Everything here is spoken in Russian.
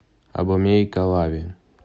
абомей калави